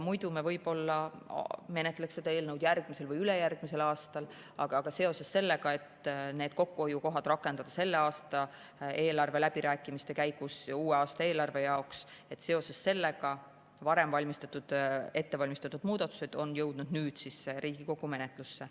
Muidu me võib-olla menetleks seda eelnõu järgmisel või ülejärgmisel aastal, aga seoses sellega, et kokkuhoiukohad tuleks rakendada selle aasta eelarveläbirääkimiste käigus uue aasta eelarve jaoks, on need varem ette valmistatud muudatused jõudnud nüüd Riigikogu menetlusse.